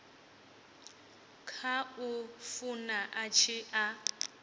khou funa a tshi a